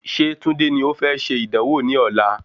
Ṣé Tunde ni o fẹ́ ṣe ìdánwò ní ọ̀la?